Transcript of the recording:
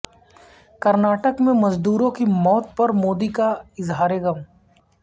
کرناٹک میں مزدوروں کی موت پر مودی کا اظہارغم